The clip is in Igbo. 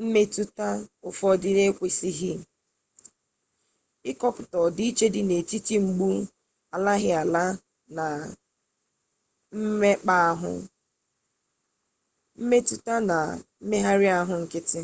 mmetụta ụfụ ekwesịghị ịkọpụta ọdịiche dị n'etiti mgbu alaghịala na mmekpaahụ mmetụta na mmegharị ahụ nkịtị